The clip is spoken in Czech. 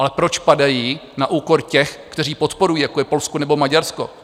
Ale proč padají na úkor těch, kteří podporují, jako je Polsko nebo Maďarsko?